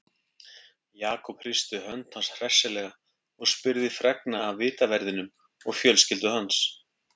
Jakob hristi hönd hans hressilega og spurði fregna af vitaverðinum og fjölskyldu hans.